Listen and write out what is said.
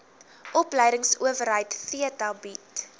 opleidingsowerheid theta bied